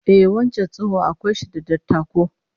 Ehh, wancan tsoho akwai shi da dattako